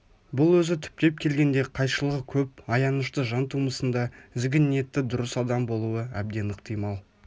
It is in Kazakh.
бұл өзі түптеп келгенде қайшылығы көп аянышты жан тумысында ізгі ниетті дұрыс адам болуы әбден ықтимал